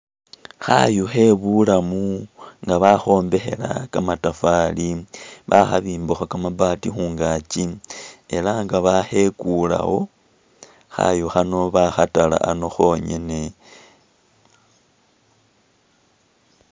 Khayu khebulamu nga bakhombekhela kamatafali, bakhibimbakho kamabaati khungaaki elah nga bakhekulewo, khayu khano bakhatala ano khongene